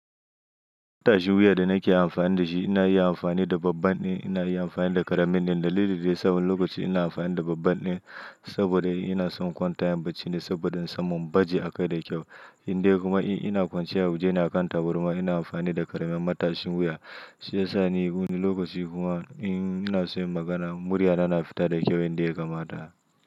Matashin wuya da nake amfani da shi, ina yi amfani da babban ne, ina yi amfani da ƙaramin ne. Dalili da yasa wani lokaci ina amfani da babban din saboda in ina son in kwanta im bacci ne saboda in samun in baje a kai da kyau. Indai kuma in ina kwance a waje ne a kan taburma ina amfani da ƙaramin matashin wuya. Shi ya sa ni lokaci kuma in ina so yin magana, murya na fita da kyau yadda yakama ta.